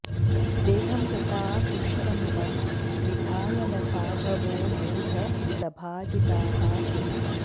देहं वृथा पुष्टमिमं विधाय न साधवो मूढ सभाजिताः किम्